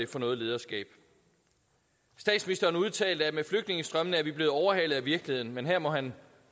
for noget lederskab statsministeren udtalte at med flygtningestrømmene er vi blevet overhalet af virkeligheden men her må han